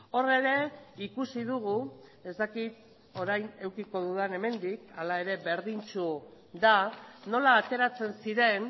hor ere ikusi dugu ez dakit orain edukiko dudan hemendik hala ere berdintsu da nola ateratzen ziren